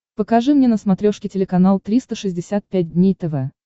покажи мне на смотрешке телеканал триста шестьдесят пять дней тв